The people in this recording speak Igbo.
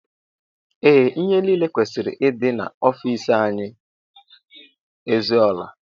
Ee ihe niile kwesịrị ịdị n'ofici anyị ezuola.